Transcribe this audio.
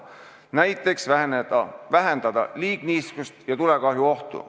Näiteks saab vähendada liigniiskust ja tulekahjuohtu.